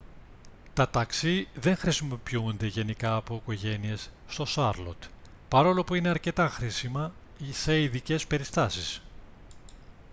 τα ταξί δεν χρησιμοποιούνται γενικά από οικογένειες στο σάρλοτ παρόλο που είναι αρκετά χρήσιμα σε ειδικές περιστάσεις